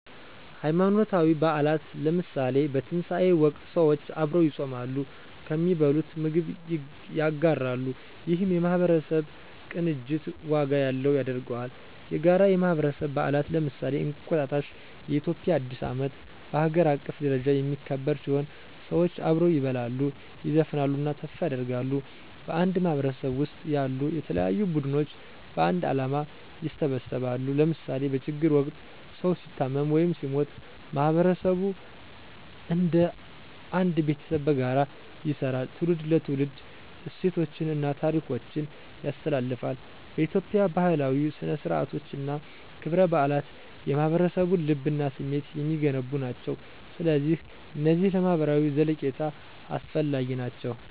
ሃይማኖታዊ በዓላት ለምሳሌ፣ በትንሣኤ ወቅት ሰዎች አብረው ይጾማሉ፣ ከሚበሉት ምግብ ያጋራሉ፣ ይህም የማህበረሰብ ቅንጅት ዋጋ ያለው ያደርገዋል። የጋራ የማህበረሰብ በዓላት ለምሳሌ፣ እንቁጣጣሽ (የኢትዮጵያ አዲስ ዓመት) በሀገር አቀፍ ደረጃ የሚከበር ሲሆን፣ ሰዎች አብረው ይበላሉ፣ ይዘፍናሉ እና ተስፋ ያደርጋሉ። በአንድ ማህበረሰብ ውስጥ ያሉ የተለያዩ ቡድኖች በአንድ ዓላማ ይሰባሰባሉ ለምሳሌ በችግር ወቅት ሰዉ ሲታመም ወይም ሲሞት ማህበረሰቡ እንደ አንድ ቤተሰብ በጋራ ይሰራል። ትውልድ ለትውልድ እሴቶችን እና ታሪኮችን ያስተላልፋል። በኢትዮጵያ፣ ባህላዊ ሥነ-ሥርዓቶች እና ክብረ በዓላት የማህበረሰቡን ልብ እና ስሜት የሚገነቡ ናቸው። ስለዚህ እነዚህ ለማህበራዊ ዘለቄታ አስፈላጊ ናቸው!